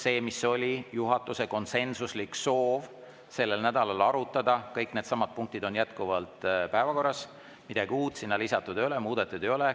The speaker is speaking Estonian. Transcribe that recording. See, mis oli juhatuse konsensuslik soov sellel nädalal arutada, kõik needsamad punktid on jätkuvalt päevakorras, midagi uut sinna lisatud ei ole, midagi muudetud ei ole.